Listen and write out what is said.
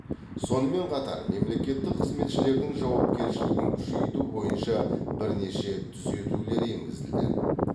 сонымен қатар мемлекеттік қызметшілердің жауапкершілігін күшейту бойынша бірнеше түзетулер енгізілді